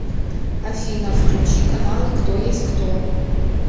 афина включи каналы кто есть кто